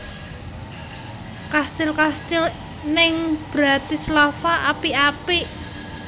Kastil kastil ning Bratislava apik apik